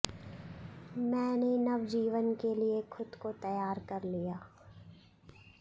मैंने नव जीवन के लिए खुद को तैयार कर लिया